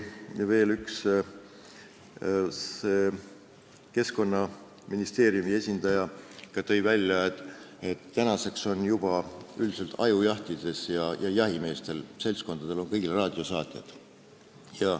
Keskkonnaministeeriumi esindaja tõi veel välja, et ajujahi ajal ja üldiselt on jahimeeste seltskondadel kõigil olemas raadiosaatjad.